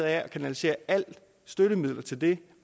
af at kanalisere alle støttemidler til det